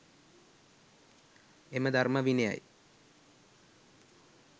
එම ධර්ම විනයයි